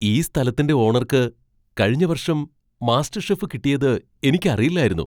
ഈ സ്ഥലത്തിന്റെ ഓണർക്ക് കഴിഞ്ഞ വർഷം മാസ്റ്റർഷെഫ് കിട്ടിയത് എനിക്കറിയില്ലായിരുന്നു!